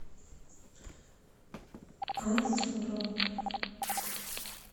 анзором